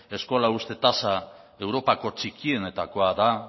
eskola uzte tasa europako txikienetakoa da